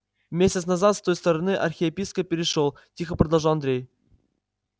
месяц назад с той стороны архиепископ перешёл тихо продолжал андрей